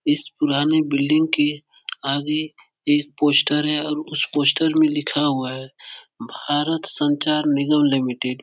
इस पुराने बिल्डिंग के आगे एक पोस्टर है और उस पोस्टर में लिखा हुआ है भारत संचार निगम लिमिटेड ।